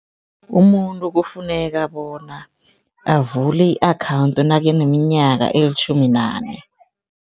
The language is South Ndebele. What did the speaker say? Umuntu kufuneka bona avule i-account nakaneminyaka elitjhumi nane.